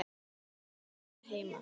ólög vakna heima.